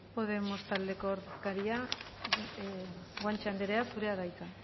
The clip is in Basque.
podemos taldeko ordezkaria guanche andrea zurea da hitza